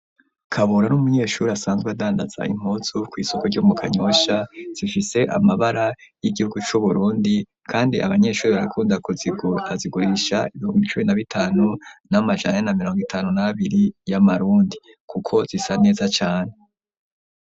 Kabura, ni umunyeshuri, asanzwe adandaza impuzu, kw'isoko ryo mu kanyosha; zifise amabara y'igihugu, c'Uburundi, kandi abanyeshuri, barakunda kuzigura; azigurisha, ibihumbi cumi na bitanu n'amajana ane na mirongo itanu n'abiri, y'amarundi, kuko zisa neza cane.